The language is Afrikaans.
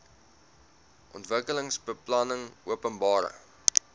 ontwikkelingsbeplanningopenbare